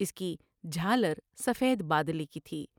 اس کی جھالر سفید با دلے کی تھی ۔